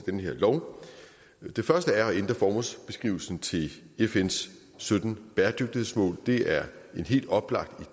den her lov det første er at ændre formålsbeskrivelsen til fns sytten bæredygtighedsmål det er en helt oplagt